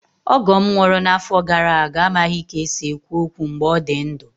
Ọgọ m nwụrụ n'afọ gara aga amaghị ka e si ekwu okwu mgbe ọ dị ndụ.